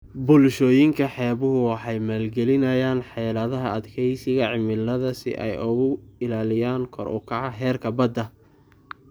Bulshooyinka xeebuhu waxay maalgelinayaan xeeladaha adkeysiga cimilada si ay uga ilaaliyaan kor u kaca heerarka badda.